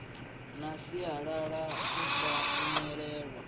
na sialala u sa imelwa